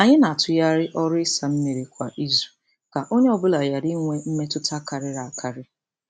Anyị na-atụgharị ọrụ ịsa mmiri kwa izu ka onye ọ bụla ghara inwe mmetụta karịrị akarị.